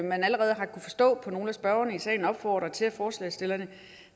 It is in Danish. man allerede har kunnet forstå på nogle af spørgerne i salen opfordre til at forslagsstillerne